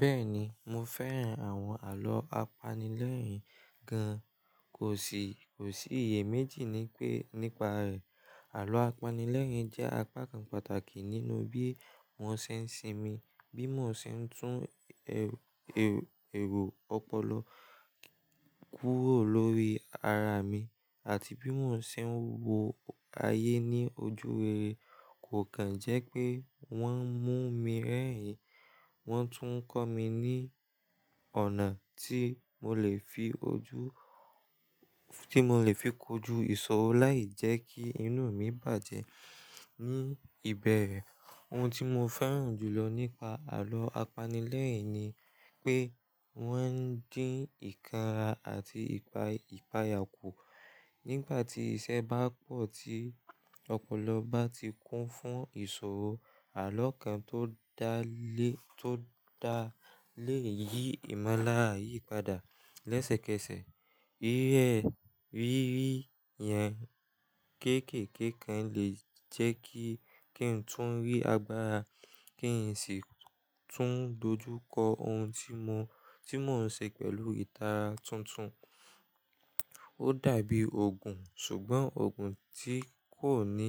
Bẹ́ẹ̀ni, mo fẹ́ràn àwọn àlọ́ apanilẹ́rìn gan. Kò sì, kò sí iye méjì nípa rẹ̀. Àlọ́ apanilẹ́rìn-ín jẹ́ apá kan pàtàkì nínú bí mò ń ṣe ń sinmi, bí mò ń ṣe ń tún èrò ọpọlọ kúrò lórí ara mi àti bí mò ń ṣe ń wo ayé ní ojú rere. Kò kàn jẹ́ pé wọ́n mú mi rẹ́rìn, wọ́n tún ń kọ́ mi ní ọ̀nà tí mo lè fi ojú, tí mo lè fi kọju ìṣòro láì jẹ́ kí inú mi bàjẹ́ ní ibẹ̀rẹ̀. Ohun tí mo fẹ́ràn jùlọ nípa àlọ́ apanilẹ́rìn ni pé wọ́n ń dín ìkanra àti ìpayà kù. Nígbà tí iṣẹ́ bá pọ̀ tí ọpọlọ bá ti kún fún ìṣòro, àlọ́ kan tó dá lé, tó dá lé yí ìmọ́lára yìí padà lẹ́sẹ̀kẹsẹ̀. Eré rírí yẹn kéékèèké kan lè jẹ́ kí, kí n tún rí agbára, kí n sì tún dojú kọ ohun tí mò ń ṣe pẹ̀lú ìtara tuntun. Ó dàbí òògùn, ṣùgbọ́n òògùn tí kò ní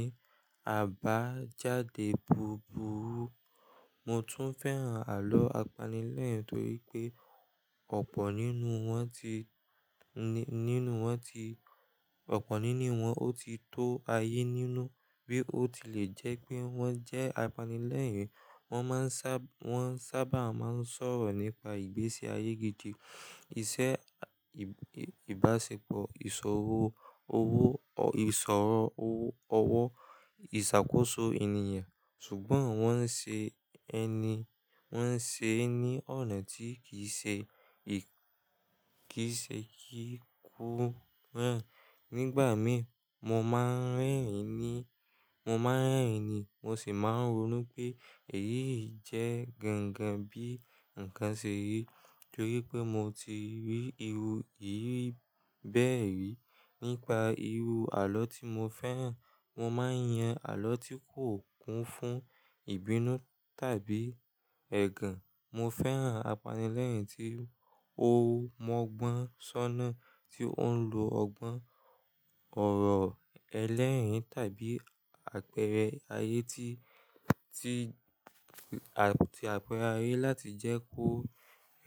àbájáde búburú. Mo tún fẹ́ràn àlọ́ apanilẹ́rìn torí pé ọ̀pọ̀ nínú wọn ti, nínú wọn ti, ọ̀pọ̀ nínú wọn ó ti tó ayé nínú. Bí ó ti lè jẹ́ pé wọ́n jẹ́ apanilẹ́rìn, wọ́n sábà máa ń sọ̀rọ̀ nípa ìgbésí ayé gidi, iṣẹ́, ìbáṣepọ̀, ìṣòro owó. Owó, ìṣàkóso ènìyàn. Ṣùgbọ́n wọ́n ń ṣe ẹni, wọ́n ń ṣe é ní ọ̀nà tí kì í ṣe, kì í ṣe kí kú rán. Nígbà mí, mo máa ń rẹ́rìn ní, mo máa ń rẹ́rìn ní, mo sì máa ń rònú pé èyí jẹ́ gangan bí ǹkan ṣe rí torí pé mo ti rí irú ìriri bee rí. Nípa irú àlọ́ tí mo fẹ́ràn, mo máa ń yan àlọ́ tí kò kún fún ìbínú tàbí ẹ̀gàn. Mo fẹ́ràn apanilẹ́rìn-ín tí ó mọ́ ọgbọ́n ṣọ́nà, tí ó ń lo ọgbọ́n ọ̀rọ̀ ẹlẹ́rìn-ín tàbí àpẹẹrẹ ayé tí, tí, àti àpẹẹrẹ ayé láti jẹ́ kó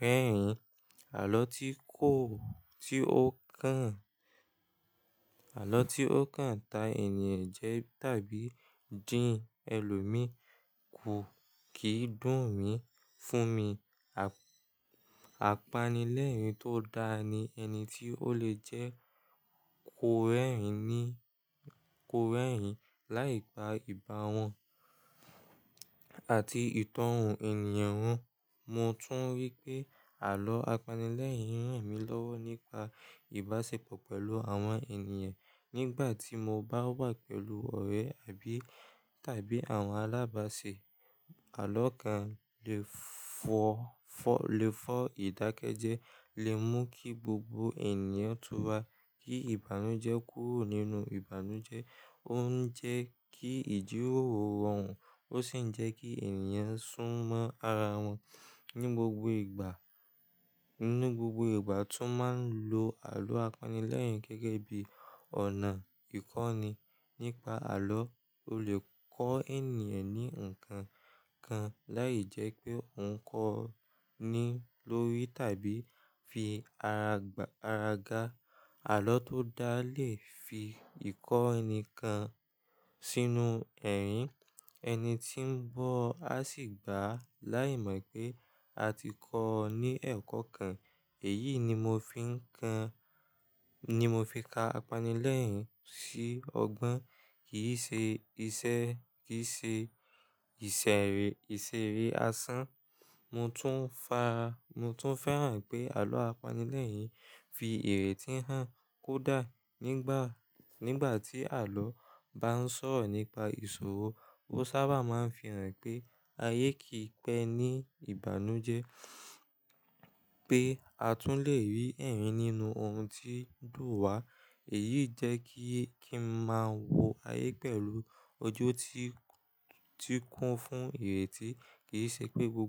rẹ́rìn-ín. Àlọ́ tí kò, tí ó kan, àlọ́ tí ó kan ta ènìyàn jẹ tàbí dín ẹlòmíì kú kì í dùn mí. Fún mi, apanilẹ́rìn-ín tó dáa ni ẹni tí ó le jẹ́ kó rẹ́rìn-ín ní, kó rẹ́rìn-ín láìpa ìbá wọn àti ìtọ́hu ènìyàn wọn. Mo tún rí pé àlọ́ apanilẹ́rìn-ín ràn mí lọ́wọ́ nípa ìbáṣepọ̀ pẹ̀lú àwọn ènìyàn. Nígbà tí mo bá wà pẹ̀lú ọ̀rẹ́ àbí tàbí àwọn alábàáṣè, àlọ́ kan lè fọ, lè fọ ìdákẹ́jẹ́, lè mú kí gbogbo ènìyàn túra, kí ìbànújẹ́ kúrò nínú ìbànújẹ́. Ó ń jẹ́ kí ìjíròrò rọrùn ó sì ń jẹ́ kí ènìyàn sùn mọ́ ara wọn ní gbogbo ìgbà. Ní gbogbo ìgbà tún máa ń lo àlọ́ apanilẹ́rìn-ín gẹ́gẹ́ bí ọ̀nà ìkọ́ni. Nípa àlọ́, o lè kọ́ ènìyàn ní nǹkan kan láì jẹ́ pé ò ń kọ́ ọ ní lórí tàbí fi ara, ara ga. Àlọ́ tó dáa lè fi ìkọ́ni kan sínú ẹ̀rín, ẹni tí ń gbọ̀ á sì gbà á láìmọ̀ pé a ti kọ́ ọ ní ẹ̀kọ́ kan. Èyí ni mo fi ka apanilẹ́rìn-ín sí ọgbọ́n, kì í ṣe ìṣeré asán. Mo tún fà, mo tún fẹ́ràn pé àlọ́ apanilẹ́rìn-ín fi èrè tí hàn kó dáa. Nígbà, nígbà tí àlọ́ bá ń sọ̀rọ̀ nípa ìṣòro, ó sábà máa ń fi hàn pé ayé kì í pẹ́ ní ìbànújẹ́, pé a tún lè rí ẹ̀rín nínú ohun tí ń dùn wa. Èyí jẹ́ kí, kí n máa wo ayé pẹ̀lú ojú tí, tí kún fún ìrètí, kì í ṣe pé gbo.